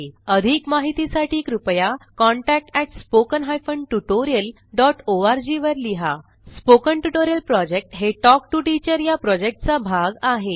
अधिक माहितीसाठी कृपया contact at spoken hyphen tutorial dot O R G वर लिहा स्पोकन ट्युटोरियल प्रॉजेक्ट हे टॉक टू टीचर या प्रॉजेक्टचा भाग आहे